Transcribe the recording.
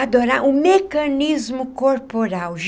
Adorar o mecanismo corporal.